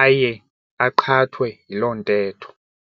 aye aqhathwe yiloo ntetho.